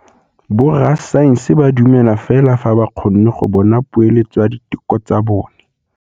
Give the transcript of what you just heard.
Borra saense ba dumela fela fa ba kgonne go bona poeletsô ya diteko tsa bone.